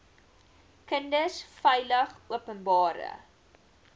kinders veilig openbare